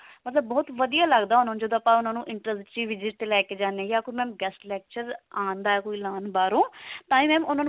ਮਤਲਬ ਬਹੁਤ ਵਧੀਆ ਲੱਗਦਾ ਉਹਨਾਂ ਨੂੰ ਜਦੋਂ ਆਪਾਂ ਉਹਨਾਂ ਨੂੰ interesting visit ਤੇ ਲੈ ਕੇ ਜਾਣੇ ਹਾਂ ਯਾ ਕੋਈ mam guest lecture ਆਉਂਦਾ ਕੀ ਲਾਉਣ ਬਾਹਰੋਂ ਤਾਹੀ mam